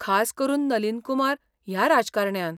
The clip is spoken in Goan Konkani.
खास करून नलीन कुमार ह्या राजकारण्यान.